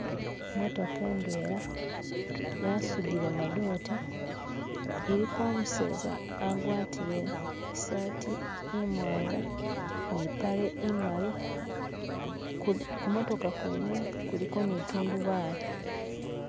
Imotoka indwena yasudile gamadote iliko umuseza agwatile isati imwanga nimpale imali kumotoka kwene kuliko nitundubale.